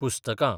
पुस्तकां